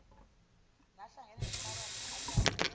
nahlangene nenhlabathi adabule